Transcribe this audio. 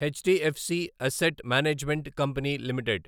HDFC asset management company limited